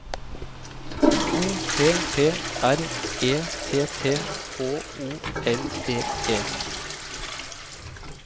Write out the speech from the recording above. O P P R E T T H O L D E